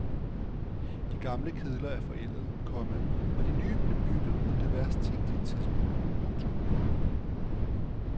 De gamle kedler er forældede, komma og de nye blev bygget på det værst tænkelige tidspunkt. punktum